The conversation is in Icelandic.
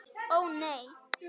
Ó nei!